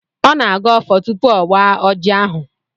Ọ na-agọ ọfọ tupu ọ waa ọjị ahụ.